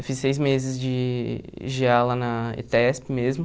Eu fiz seis meses de gê á lá na ETESP mesmo.